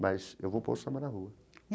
Mas eu vou pôr o samba na rua.